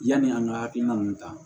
Yani an ka hakilina ninnu ta